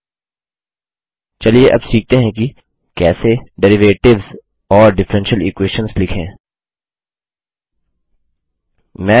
चलिए अब सीखते हैं कि कैसे डेरिवेटिव्स डेरिवेटिव और डिफरेंशियल इक्वेशंस डिफरेन्शल इक्वेशनलिखें